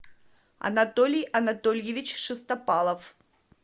анатолий анатольевич шестопалов